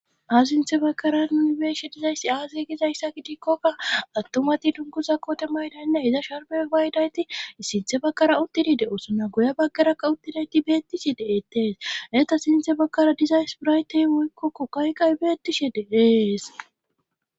asi shinthe bakkara nuni beeshe dizayssi aaz gizayssa gidikkokka attumati dunkuza kote maydaynne hiza sharme baydayti sinthe bakkara uttidi de7osuna goya bakarakka uttidayti beettishe de7eettees eta sinthe bakkara dizays biraytey woykkokko kayqay beettishe deees